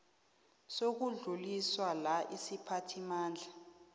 zokudluliswa la isiphathimandla